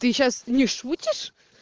ты сейчас не шутишь